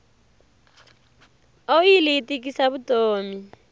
oyili yi tikisa vutomi